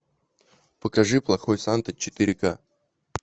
покажи плохой санта четыре ка